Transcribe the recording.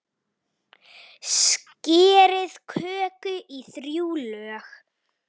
Skerið kökuna í þrjú lög.